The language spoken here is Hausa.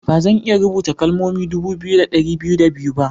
Ba zan iya rubuta kalmomi dubu biyu da dari biyu da biyu ba.